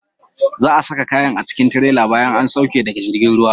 Za'a saka kayan a cikin tirela bayan an sauke daga jirgin ruwa.